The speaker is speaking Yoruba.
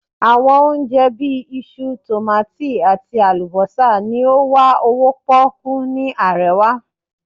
awọn ohun onjẹ, bi iṣu, tomati ati alubosa ni o wa owo poku ni arewa